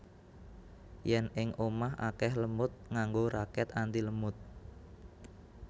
Yen ing omah akeh lemud nganggo raket antilemud